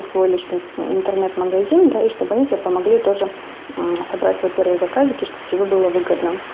свой личный интернет-магазин да и чтобы они тебе помогли тоже собрать свой первый заказик и чтобы тебе было выгодно